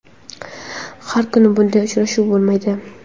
Har kuni bunday uchrashuv bo‘lmaydi.